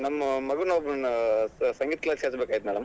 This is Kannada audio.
ನಮ್ಮ್ ಮಗನ್ ಒಬ್ಬನಾ ಸ~ ಸಂಗೀತ class ಗ್ ಹಚ್ಬೇಕಾಗಿತ್ತ್ madam .